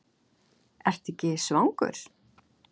Ertu ekki svangur?